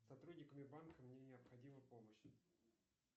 сотрудниками банка мне необходима помощь